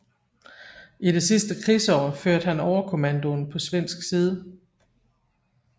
I det sidste krigsår førte han overkommandoen på svensk side